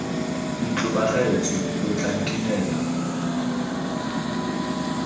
ntlo bagaetsho lo tla nkinela